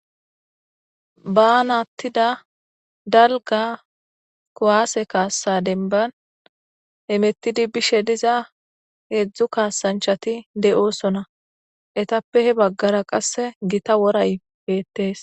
baanattida dalga kuwaase kaassa denban emettidi bishe diza heedzdzu kaasanchati de7osona etappe he baggara qasse gita woray beettees